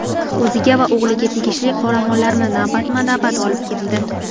O‘ziga va o‘g‘liga tegishli qoramollarni navbatma-navbat olib ketdi.